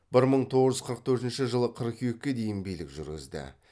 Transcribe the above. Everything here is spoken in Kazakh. бір мың тоғыз жүз қырық төртінші жылы қыркүйекке дейін билік жүргізді